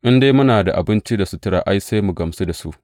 In dai muna da abinci da sutura, ai, sai mu gamsu da su.